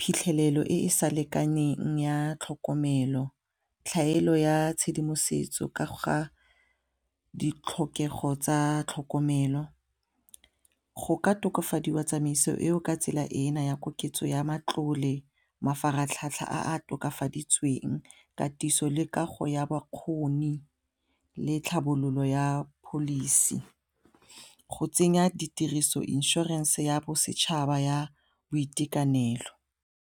phitlhelelo e e sa lekaneng ya tlhokomelo, tlhaelo ya tshedimosetso ka ga ditlhokego tsa tlhokomelo go ka tokafadiwa tsamaiso eo ka tsela ena ya koketso ya matlole, mafaratlhatlha a tokafaditsweng ka katiso le kago ya bakgoni le tlhabololo ya policy go tsenya ditiriso insurance ya bosetšhaba ya boitekanelo.